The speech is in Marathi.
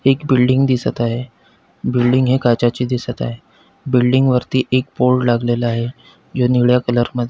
एक बिल्डिंग दिसत आहे बिल्डिंग ही काचेची दिसत आहे बिल्डिंग वरती एक बोर्ड लागलेला आहे जो निळ्या कलर मध्ये --